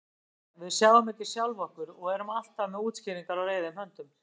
Málið er: Við sjáum ekki sjálf okkur og erum alltaf með útskýringar á reiðum höndum.